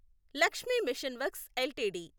Lakshmi machine works LTD